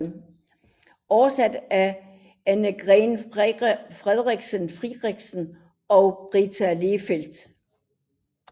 Oversat af Annegret Friedrichsen og Britta Lehfeldt